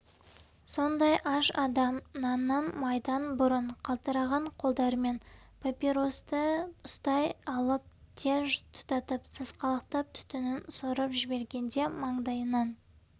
сондай аш адам наннан майдан бұрын қалтыраған қолдарымен папиросты ұстай алып тез тұтатып сасқалақтап түтінін сорып жібергенде маңдайынан